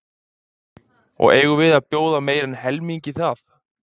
Og eigum við að bjóða meira en helmingi það?